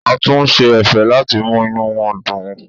A tún ṣe ẹ̀fẹ̀ láti mú inú wọn dùn.